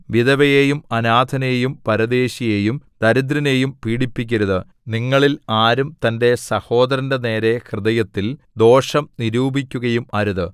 വിധവയെയും അനാഥനെയും പരദേശിയെയും ദരിദ്രനെയും പീഡിപ്പിക്കരുത് നിങ്ങളിൽ ആരും തന്റെ സഹോദരന്റെ നേരെ ഹൃദയത്തിൽ ദോഷം നിരൂപിക്കുകയും അരുത്